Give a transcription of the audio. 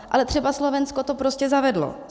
Ale třeba Slovensko to prostě zavedlo.